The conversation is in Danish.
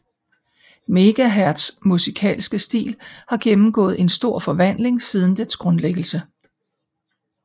Megaherz musikalske stil har gennemgået en stor forvandling siden dets grundlæggelse